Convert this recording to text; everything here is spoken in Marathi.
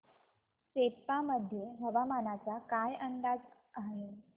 सेप्पा मध्ये हवामानाचा काय अंदाज आहे